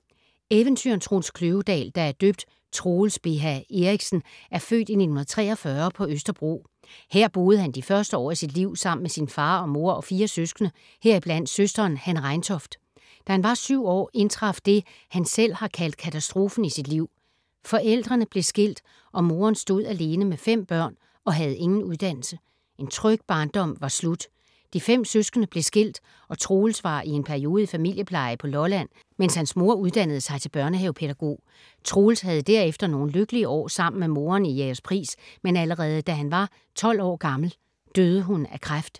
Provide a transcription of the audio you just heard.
Eventyreren Troels Kløvedal, der er døbt Troels Beha Erichsen, er født i 1943 på Østerbro. Her boede han de første år af sit liv sammen med sin far og mor og fire søskende, heriblandt søsteren Hanne Reintoft. Da han var syv år indtraf det, han selv har kaldt katastrofen i sit liv. Forældrene blev skilt, og moren stod alene med fem børn og havde ingen uddannelse. En tryg barndom var slut. De fem søskende blev skilt, og Troels var i en periode i familiepleje på Lolland, mens hans mor uddannede sig til børnehavepædagog. Troels havde derefter nogle lykkelige år sammen med moren i Jægerspris, men allerede da han var 12 år gammel, døde hun af kræft.